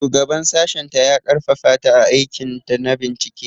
Shugaban sashenta ya ƙarfafa ta a aikinta na bincike.